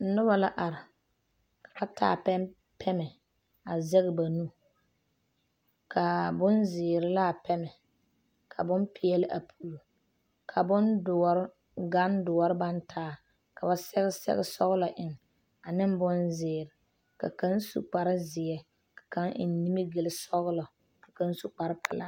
Noba la are ka ba taa pɛmɛ a zɛge ba nu ka bonzeere la a pɛmɛ ka bonpeɛle a puli ka bondoɔre gandoɔre baŋ taa ka ba sɛge sɛgesɔglɔ eŋ ane bonzeere ka kaŋ su kparezeɛ ka kaŋ eŋ mimigilsɔglɔ ka kaŋ su kparepelaa.